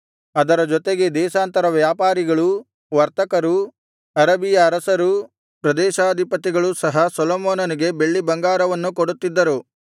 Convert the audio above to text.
ಅದರ ಜೊತೆಗೆ ದೇಶಾಂತರ ವ್ಯಾಪಾರಿಗಳೂ ವರ್ತಕರೂ ಅರಬಿಯ ಅರಸರೂ ಪ್ರದೇಶಾಧಿಪತಿಗಳೂ ಸಹ ಸೊಲೊಮೋನನಿಗೆ ಬೆಳ್ಳಿ ಬಂಗಾರವನ್ನು ಕೊಡುತ್ತಿದ್ದರು